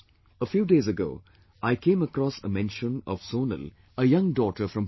A few days ago, I came across a mention of Sonal, a young daughter from Pune